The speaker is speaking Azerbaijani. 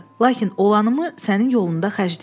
Lakin olanımı sənin yolunda xərcləyərəm.